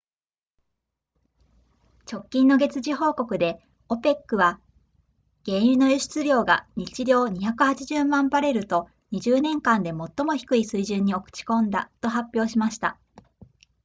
直近の月次報告で opec は原油の輸出量が日量280万バレルと20年間で最も低い水準に落ち込んだと発表しました